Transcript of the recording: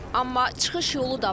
Amma çıxış yolu da var.